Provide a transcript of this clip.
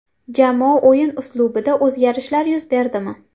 Jamoa o‘yin uslubida o‘zgarishlar yuz berdimi?